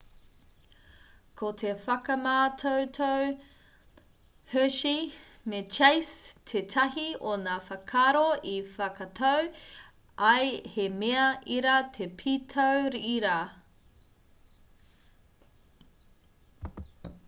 ko te whakamātautau hershey me chase tētahi o ngā whakaaro i whakatau ai he mea ira te pītau ira